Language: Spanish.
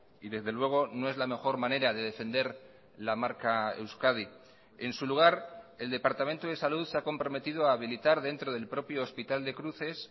y desde luego no es la mejor manera de defender la marca euskadi en su lugar el departamento de salud se ha comprometido a habilitar dentro del propio hospital de cruces